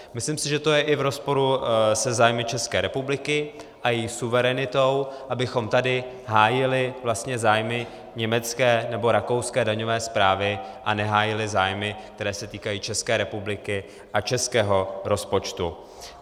Myslím si, že to je i v rozporu se zájmy České republiky a její suverenitou, abychom tady hájili vlastně zájmy německé nebo rakouské daňové správy a nehájili zájmy, které se týkají České republiky a českého rozpočtu.